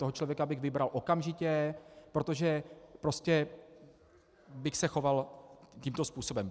Toho člověka bych vybral okamžitě, protože prostě bych se choval tímto způsobem.